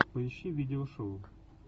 поищи видеошоу